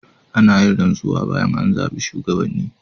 Ana yin rantsuwa bayan an zabi shugabanni.